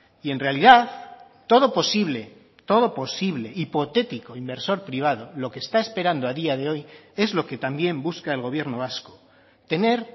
y en realidad todo posible todo posible hipotético inversor privado lo que está esperando a día de hoy es lo que también busca el gobierno vasco tener